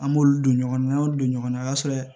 An b'olu don ɲɔgɔn na an y'olu don ɲɔgɔn na o y'a sɔrɔ